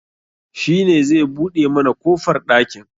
Shi ne zai buɗe mana kofar ɗakin